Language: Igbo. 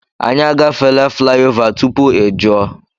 Anyị a gafeela flaị ova tupu ị jụọ.